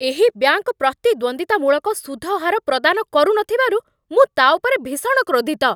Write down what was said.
ଏହି ବ୍ୟାଙ୍କ ପ୍ରତିଦ୍ୱନ୍ଦ୍ୱିତାମୂଳକ ସୁଧ ହାର ପ୍ରଦାନ କରୁନଥିବାରୁ ମୁଁ ତା' ଉପରେ ଭୀଷଣ କ୍ରୋଧିତ।